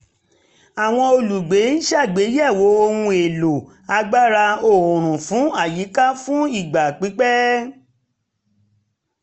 àwọn olùgbé ń ṣàgbéyẹ̀wò ohun èlò agbára oòrùn fún àyíká fún ìgbà pípẹ̀